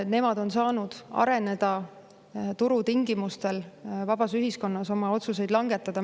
Nemad on saanud areneda turutingimustel, vabas ühiskonnas oma otsuseid langetada.